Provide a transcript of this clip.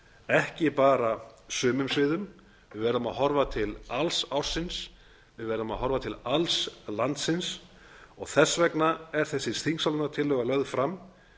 ekki bara sumum sviðum við verðum að horfa til alls ársins við verðum að horfa til alls landsins og þess vegna er þessi þingsályktunartillaga lögð fram